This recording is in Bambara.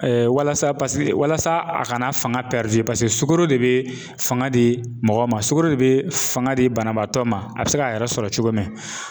walasa paseke walasa a kana fanga paseke sugoro de bi fanga di mɔgɔ ma, sukɔro de bi, fanga di banabaatɔ ma, a bi se k'a yɛrɛ sɔrɔ cogo min